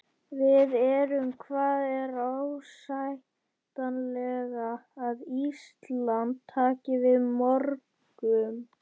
Við erum, hvað er ásættanlegt að Ísland taki við mörgum?